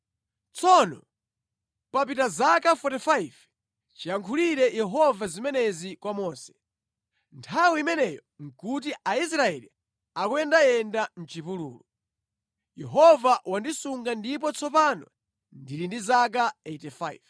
“Tsono papita zaka 45 chiyankhulire Yehova zimenezi kwa Mose. Nthawi imeneyo nʼkuti Aisraeli akuyendayenda mʼchipululu. Yehova wandisunga ndipo tsopano ndili ndi zaka 85.